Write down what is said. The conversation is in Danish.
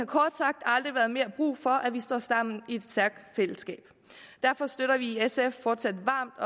kort sagt aldrig været mere brug for at vi står sammen i et stærkt fællesskab derfor støtter vi i sf fortsat varmt